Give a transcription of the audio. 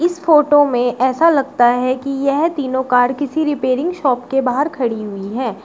इस फोटो में ऐसा लगता है कि यह तीनों कार किसी रिपेयरिंग शॉप के बाहर खड़ी हुई है।